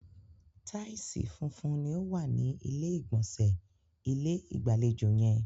Taìsì funfun ni o wa ni ilé ìgbọ̀nsẹ̀ ilé-ìgbàlejò yẹn.